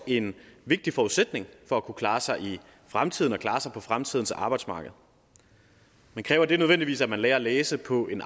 en vigtig forudsætning for at kunne klare sig i fremtiden og klare sig på fremtidens arbejdsmarked men kræver det nødvendigvis at man lærer at læse på en